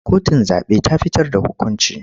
Kotun zaɓe ta fitar da hukunci.